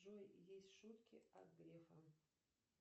джой есть шутки от грефа